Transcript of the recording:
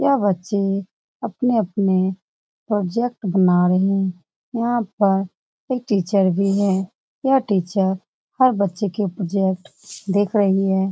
यह बच्चे अपने-अपने प्रोजेक्ट बना रहे हैं यहां पर एक टीचर भी है यह टीचर हर बच्चे की प्रोजेक्ट देख रही है।